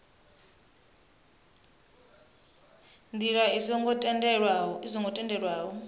ndila i songo tendelwaho o